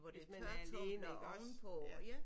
Hvis man er alene iggås ja